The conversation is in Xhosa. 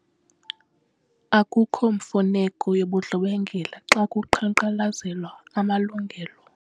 Akukho mfuneko yobundlobongela xa kuqhankqalazelwa amalungelo.